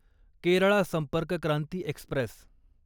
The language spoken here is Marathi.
केरळा संपर्क क्रांती एक्स्प्रेस